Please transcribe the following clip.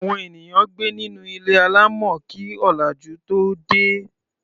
Àwọn ènìyàn gbé nínú ilé alámọ̀ kí ọ̀làjú tóo dé.